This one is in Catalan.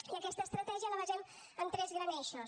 i aquesta estratègia la basem en tres grans eixos